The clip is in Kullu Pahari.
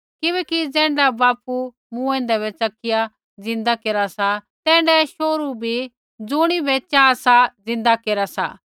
किबैकि ज़ैण्ढा बापू मूँऐंदै बै च़किया ज़िंदा केरा सा तैण्ढै शोहरू भी ज़ुणिबै चाहा सा ज़िंदा केरा सा